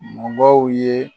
Mɔgɔw ye